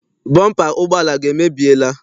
Bọmpa ụgbọala gị emebiela?